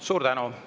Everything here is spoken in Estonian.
Suur tänu!